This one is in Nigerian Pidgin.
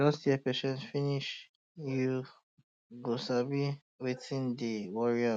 just hear patient finish you go sabi um wetin um dey um worry am